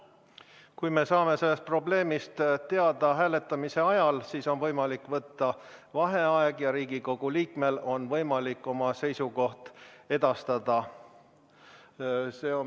Kui me saame sellest probleemist teada hääletamise ajal, siis on võimalik võtta vaheaeg ja Riigikogu liikmel on võimalik oma seisukoht edastada.